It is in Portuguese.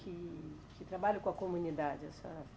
Que, que trabalho com a comunidade a senhora